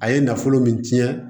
A ye nafolo min ci